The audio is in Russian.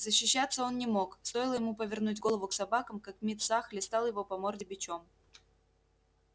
защищаться он не мог стоило ему повернуть голову к собакам как мит са хлестал его по морде бичом